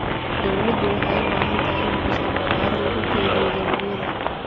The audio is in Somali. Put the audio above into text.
Dawladdu waxay u baahan tahay inay dhisto bakhaaro lagu kaydiyo dalagyada.